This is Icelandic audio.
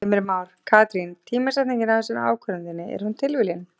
Heimir Már: Katrín tímasetningin á þessari ákvörðun þinni, er hún tilviljun?